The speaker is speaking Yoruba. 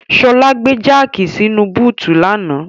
Ṣọlá gbé jáàkì sínu búùtù lánàá.